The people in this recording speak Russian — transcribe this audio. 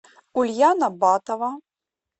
ульяна батова